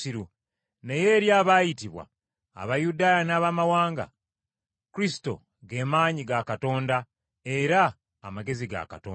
naye eri abaayitibwa, Abayudaaya n’Abamawanga, Kristo ge maanyi ga Katonda, era amagezi ga Katonda.